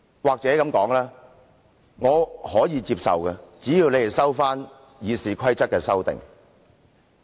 或許這樣說，我可以接受，只要建制派撤回對《議事規則》的修訂。